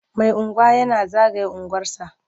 Mai unguwa yana zagaya unguwarsa.